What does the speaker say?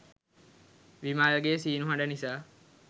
විමල්ගේ සීනු හඩ නිසා